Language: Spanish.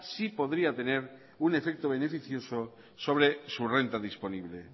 sí podría tener un efecto beneficioso sobre su renta disponible